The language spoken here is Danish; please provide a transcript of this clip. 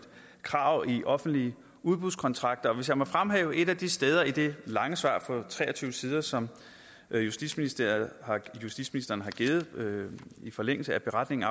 krav i offentlige udbudskontakter og hvis jeg må fremhæve et af de steder i det lange svar på tre og tyve sider som justitsministeren justitsministeren har givet i forlængelse af beretningen